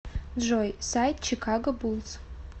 джой сайт чикаго буллс